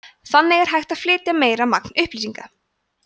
þannig er hægt að flytja meira magn upplýsinga